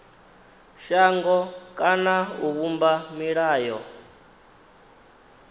shango kana u vhumba milayo